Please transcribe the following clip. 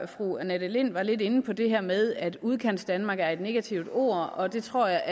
fru annette lind var lidt inde på det her med at udkantsdanmark er et negativt ord og det tror jeg